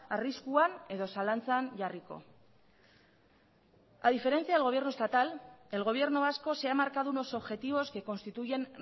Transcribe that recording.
arriskuan edo zalantzan jarriko a diferencia del gobierno estatal el gobierno vasco se ha marcado unos objetivos que constituyen